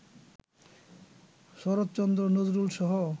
Saratchandra, নজরুলসহ